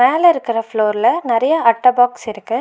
மேல இருக்கற ஃப்ளோர்ல நெறைய அட்ட பாக்ஸ் இருக்கு.